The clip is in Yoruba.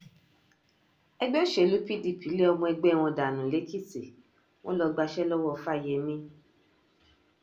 ẹgbẹ́ òsèlú pdp lé ọmọ ẹgbẹ́ wọn dànù lẹ́kìtì wọn lọ gbaṣẹ́ lọ́wọ́ fáyemí